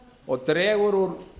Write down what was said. og dregur úr